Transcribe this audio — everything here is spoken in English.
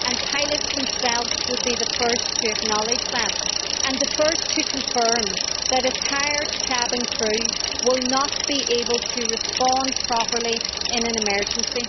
Pilots themselves would be the first to acknowledge that, and the first to confirm that a tired cabin crew will not be able to respond properly in an emergency.